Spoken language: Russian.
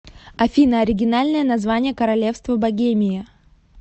афина оригинальное название королевство богемия